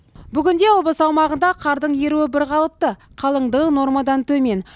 бүгінде облыс аумағында қардың еруі бірқалыпты қалыңдығы нормадан төмен